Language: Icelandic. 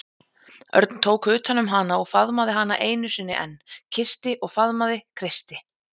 Örn tók utan um hana og faðmaði hana einu sinni enn, kyssti og faðmaði, kreisti.